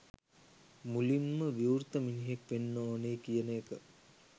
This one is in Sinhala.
මුළින් ම විවෘත මිනිහෙක් වෙන්න ඕනෑ කියන එක.